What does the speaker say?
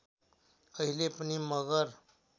अहिले पनि मगर